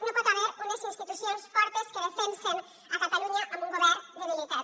no hi pot haver unes institucions fortes que defensen catalunya amb un govern debilitat